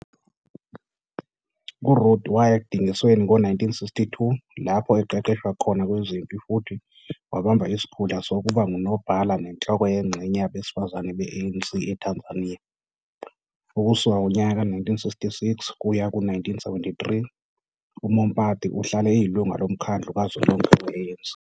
URuth waya ekudingisweni ngo-1962 lapho eqeqeshwa khona kwezempi futhi wabamba isikhundla sokuba ngunobhala nenhloko yengxenye Yabesifazane be-ANC eTanzania. Ukusuka ngonyaka ka-1966 kuya ku-1973, uMompati uhlale eyilungu loMkhandlu Kazwelonke We-ANC.